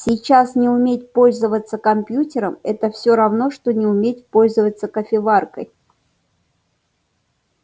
сейчас не уметь пользоваться компьютером это все равно что не уметь пользоваться кофеваркой